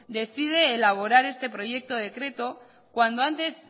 decide elaborar este proyecto decreto cuando antes